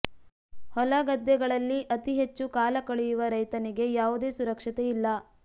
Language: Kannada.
ಹೊಲ ಗದ್ದೆಗಳಲ್ಲಿ ಅತೀ ಹೆಚ್ಚು ಕಾಲ ಕಳೆಯುವ ರೈತನಿಗೆ ಯಾವುದೇ ಸುರಕ್ಷತೆ ಇಲ್ಲ